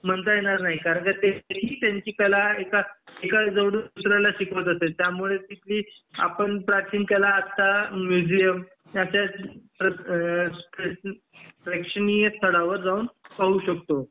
म्हणता येणार नाही कारण का ते ही त्यांची कला एका कडून दुसऱ्याला शिकवत असे त्यामुळे आपण प्राचीन कला आत्ता म्युझीयम याच्या अ प्रेक्षणीय स्थळावर जाऊन पाहू शकतो